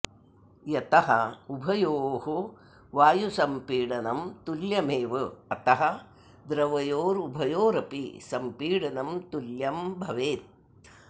यतः उभयोः वायुसम्पीडनम् तुल्यमेव अतः द्रवयोरुभयोरपि सम्पीडनं तुल्यं भवेत्